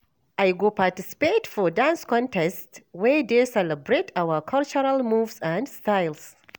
I go participate for dance contest wey dey celebrate our cultural moves and styles.